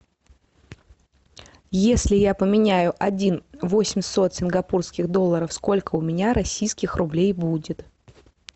если я поменяю один восемьсот сингапурских долларов сколько у меня российских рублей будет